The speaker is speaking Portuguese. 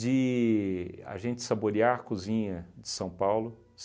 de a gente saborear a cozinha de São Paulo.